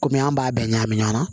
Kɔmi an b'a bɛɛ ɲagami ɲɔgɔn na